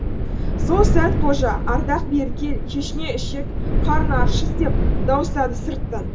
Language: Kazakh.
сол сәт қожа ардақ бері кел шешеңе ішек қарын аршыс деп дауыстады сырттан